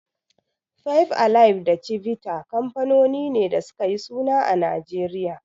Five alive da Chivita kanfanoni ne da suka yi suna a Najeriya.